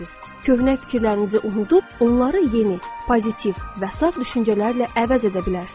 Köhnə fikirlərinizi unudub, onları yeni, pozitiv və saf düşüncələrlə əvəz edə bilərsiz.